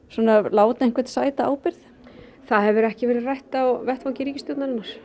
láta einhvern sæta ábyrgð það hefur ekki verið rætt á vettvangi ríkisstjórnarinnar